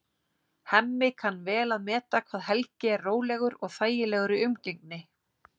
Hemmi kann vel að meta hvað Helgi er rólegur og þægilegur í umgengni.